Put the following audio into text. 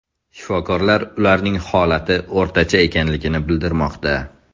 Shifokorlar ularning holati o‘rtacha ekanligini bildirmoqda.